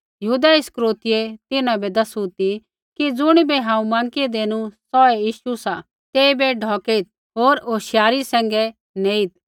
यहूदा इस्करियोतीयै तिन्हां बै दैसू ती कि ज़ुणिबै हांऊँ माँकी देनू सौहै यीशु सा तेइबै ढौकेइत् होर होशियारी सैंघै नेईत्